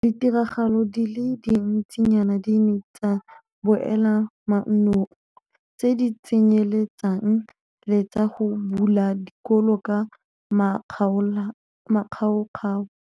Ditiragalo di le dintsinyana di ne tsa boela mannong, tse di tsenyeletsang le tsa go bula dikolo ka makgaokgao.